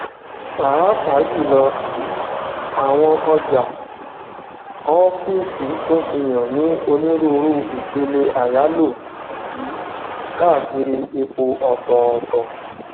pàápàá jùlọ um àwọn ọjà ọfíìsì tun fihàn ni onírúurú ìpele àyálò um káàkiri ipò ọtọọtọ